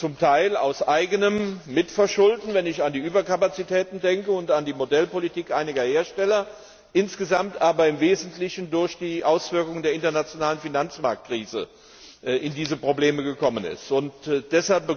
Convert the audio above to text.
zum Teil aus eigenem Verschulden wenn ich an die Überkapazitäten und an die Modellpolitik einiger Hersteller denke insgesamt aber im wesentlichen durch die Auswirkungen der internationalen Finanzmarktkrise in diese Schwierigkeiten geraten ist.